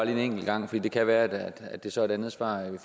en enkelt gang for det kan være at det så er et andet svar vi